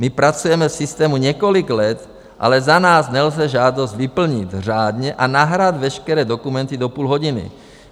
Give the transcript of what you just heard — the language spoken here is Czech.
My pracujeme v systému několik let, ale za nás nelze žádost vyplnit řádně a nahrát veškeré dokumenty do půl hodiny.